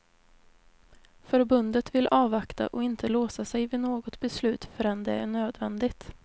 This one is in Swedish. Förbundet vill avvakta och inte låsa sig vid något beslut förrän det är nödvändigt.